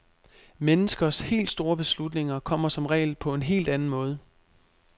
Menneskers helt store beslutninger kommer som regel på en helt anden måde.